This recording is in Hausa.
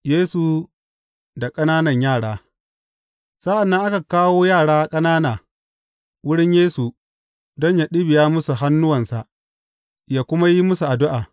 Yesu da ƙananan yara Sa’an nan aka kawo yara ƙanana wurin Yesu don yă ɗibiya musu hannuwansa, yă kuma yi musu addu’a.